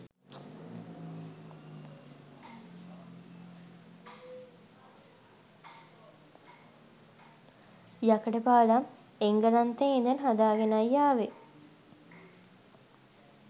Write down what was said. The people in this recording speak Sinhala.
යකඩ පාලම් එංගලන්තයේ ඉඳන් හදාගෙනයි ආවේ.